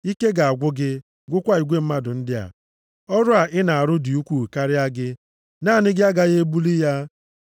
Ike ga-agwụ gị, gwụkwa igwe mmadụ ndị a. Ọrụ a ị na-arụ dị ukwuu karịa gị. Naanị gị agaghị ebuli ya.